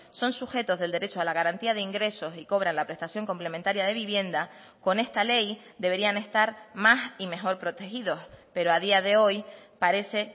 son sujetos del derecho a la garantía de ingresos y cobran la prestación complementaria de vivienda con esta ley deberían estar más y mejor protegidos pero a día de hoy parece